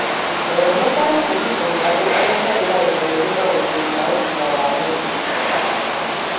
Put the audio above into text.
Rora ũtaaro kuuma kũrĩ andũ arĩa marĩ na ũmenyeru maũndũ-inĩ ma ũgima wa mwĩrĩ.